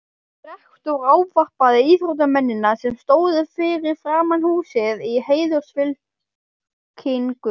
Rektor ávarpar íþróttamennina, sem stóðu fyrir framan húsið í heiðursfylkingu.